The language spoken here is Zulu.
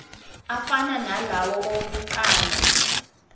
afana nalawo awokuqala